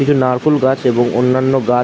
কিছু নারকল গাছ এবং অন্যান্য গাছ--